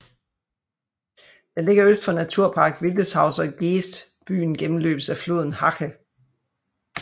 Den ligger øst for Naturpark Wildeshauser Geest Byen gennemløbes af floden Hache